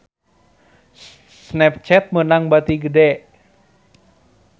Snapchat meunang bati gede